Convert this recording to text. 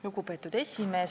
Lugupeetud esimees!